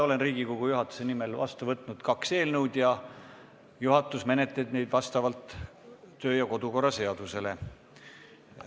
Olen Riigikogu juhatuse nimel vastu võtnud kaks eelnõu ja juhatus menetleb neid vastavalt Riigikogu kodu- ja töökorra seadusele.